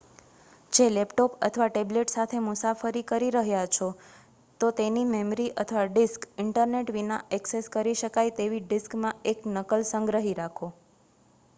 જો લેપટોપ અથવા ટેબ્લેટ સાથે મુસાફરી કરી રહ્યા છો તો તેની મેમરી અથવા ડિસ્ક ઇન્ટરનેટ વિના એક્સેસ કરી શકાય તેવી ડિસ્કમાં એક નકલ સંગ્રહી રાખો